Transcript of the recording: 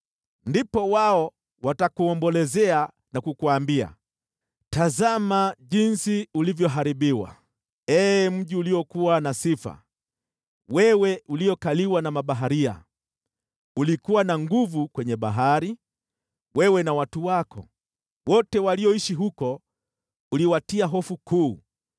Ndipo wao watakuombolezea na kukuambia: “ ‘Tazama jinsi ulivyoharibiwa, ee mji uliokuwa na sifa, wewe uliyekaliwa na mabaharia! Ulikuwa na nguvu kwenye bahari, wewe na watu wako; wote walioishi huko, uliwatia hofu kuu.